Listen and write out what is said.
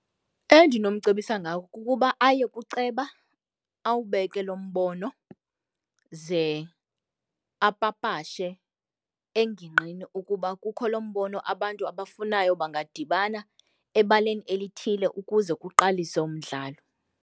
Endinomcebisa ngako kukuba aye kuceba awubeke lo mbono ze apapashe engingqini ukuba kukho lo mbono abantu abafunayo bangadibana ebaleni elithile ukuze uqalise umdlalo.